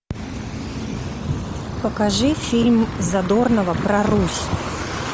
покажи фильм задорного про русь